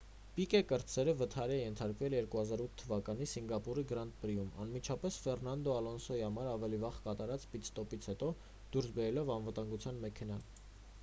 պիկե կրտսերը վթարի է ենթարկվել 2008 թ.-ին սինգապուրի գրանդ պրիում՝ անմիջապես ֆերնանդո ալոնսոյի համար ավելի վաղ կատարած պիտ-ստոպից հետո՝ դուրս բերելով անվտանգության մեքենան։